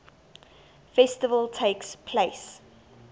festival takes place